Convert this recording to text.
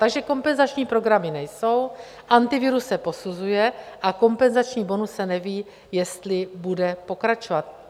Takže kompenzační programy nejsou, Antivirus se posuzuje a kompenzační bonus se neví, jestli bude pokračovat.